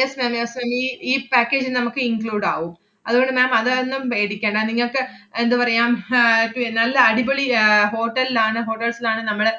yes ma'am yes ma'am ഈ ഈ package അ് നമ്മക്ക് include ആവും. അതുകൊണ്ട് ma'am അതാരണം പേടിക്കണ്ട. നിങ്ങക്ക് അഹ് എന്തുപറയാം ഹും ആഹ് പി~ നല്ല അടിപൊളി ആഹ് hotel ൽ ആണ്, hotels ലാണ് നമ്മള്,